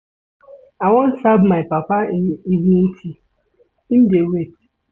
I wan serve my papa im evening tea, im dey wait.